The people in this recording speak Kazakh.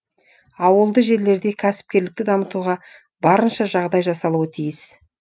ауылды жерлерде кәсіпкерлікті дамытуға барынша жағдай жасалуы тиіс